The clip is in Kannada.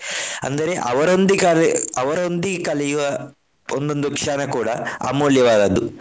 ಅಂದರೆ ಅವರೊಂದಿಗೆ ಕಲಿ~ ಅವರೊಂದಿಗೆ ಕಲಿಯುವ ಒಂದೊಂದ್ ಕ್ಷಣ ಕೂಡ ಅಮೂಲ್ಯವಾದದ್ದು.